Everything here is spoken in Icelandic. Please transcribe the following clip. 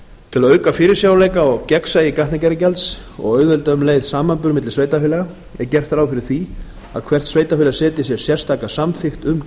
til að auka fyrirsjáanleika og gegnsæi gatnagerðargjalds og auðvelda um leið samanburð milli sveitarfélaga er gert ráð fyrir því að hvert sveitarfélag setji sér sérstaka samþykkt um